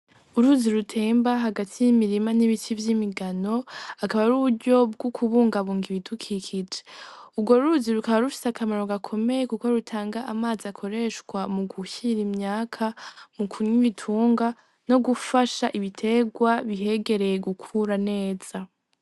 Uruzi rutemba hagati y'imirima n'ibiti vy'imigano akaba ari uburyo bwo kubungabunga ibidukikije urwo ruzi rukaba rufise akamaro gakomeye kuko rutanga amazi akoreshwa mu kuhira imyaka mu kunwa ibitungwa nogufasha ibiterwa bihegereye gukura neza.